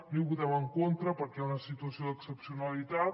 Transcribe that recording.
no hi votem en contra perquè hi ha una situació d’excepcionalitat